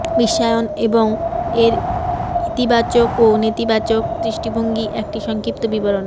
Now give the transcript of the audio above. বিশ্বায়ন এবং এর ইতিবাচক ও নেতিবাচক দৃষ্টিভঙ্গি একটি সংক্ষিপ্ত বিবরণ